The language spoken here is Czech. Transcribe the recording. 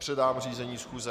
Předám řízení schůze.